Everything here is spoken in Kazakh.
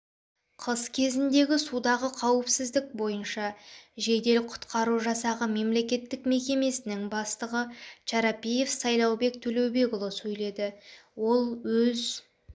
қыс кезіндегі судағы қауіпсіздік бойынша жедел-құтқару жасағы мемлекеттік мекемесінің бастығы чарапиев сайлаубек төлеубекұлы сөйледі ол өз